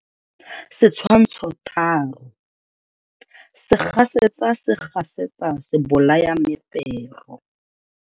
Setshwantsho 3. Segasetsa se gasetsa sebolayamefero.